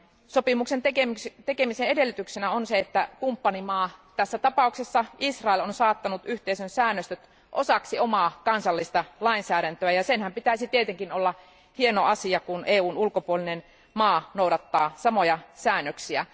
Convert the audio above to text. Sopimuksen tekemisen edellytyksenä on se, että kumppanimaa, tässä tapauksessa Israel, on saattanut yhteisön säännöstöt osaksi omaa kansallista lainsäädäntöään, ja senhän pitäisi tietenkin olla hieno asia, kun EUn ulkopuolinen maa noudattaa samoja säännöksiä.